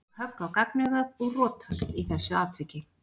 Hann fékk högg á gagnaugað og rotast í þessu atviki.